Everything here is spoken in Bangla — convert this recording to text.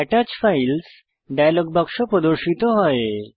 আত্তাচ ফাইলস ডায়লগ বাক্স প্রর্দশিত হয়